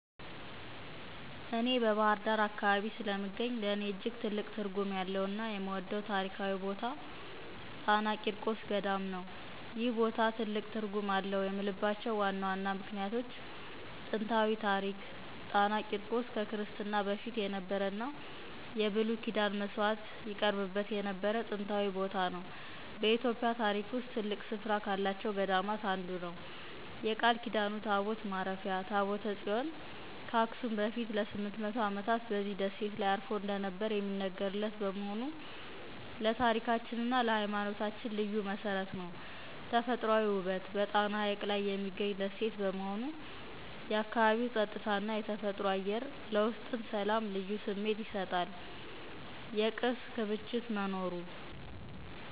እኔ በባህር ዳር አካባቢ ስለምገኝ፣ ለእኔ እጅግ ትልቅ ትርጉም ያለውና የምወደው ታሪካዊ ቦታ ጣና ቂርቆስ ገዳም ነው። ይህ ቦታ ትልቅ ትርጉም አለው የምልባቸው ዋና ዋና ምክንያቶች፦ ጥንታዊ ታሪክ ጣና ቂርቆስ ከክርስትና በፊት የነበረና የብሉይ ኪዳን መሥዋዕት ይቀርብበት የነበረ ጥንታዊ ቦታ ነው። በኢትዮጵያ ታሪክ ውስጥ ትልቅ ስፍራ ካላቸው ገዳማት አንዱ ነው። የቃል ኪዳኑ ታቦት ማረፊያ ታቦተ ጽዮን ከአክሱም በፊት ለ800 ዓመታት በዚህ ደሴት ላይ አርፎ እንደነበረ የሚነገርለት በመሆኑ ለታሪካችንና ለሃይማኖታችን ልዩ መሠረት ነው። ተፈጥሯዊ ውበት በጣና ሐይቅ ላይ የሚገኝ ደሴት በመሆኑ፣ የአካባቢው ጸጥታና የተፈጥሮ አየር ለውስጥ ሰላም ልዩ ስሜት ይሰጣል። የቅርስ ክምችት መኖሩ